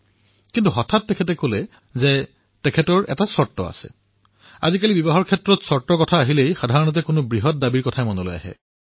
কিন্তু হঠাতে তেওঁ কলে যে মোৰ এটা চৰ্ত আছে আৰু সাধাৰণতে এনে হয় যে চৰ্তৰ কথা কলে কিবা এটা ডাঙৰ বস্তু খোজাৰ কথা কোৱা যেন হয়